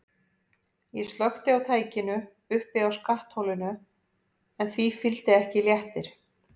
Ég slökkti á tækinu uppi á skattholinu en því fylgdi ekki léttir.